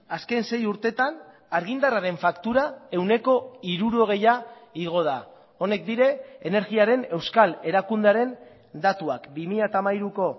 azken sei urtetan argindarraren faktura ehuneko hirurogeia igo da honek dira energiaren euskal erakundearen datuak bi mila hamairuko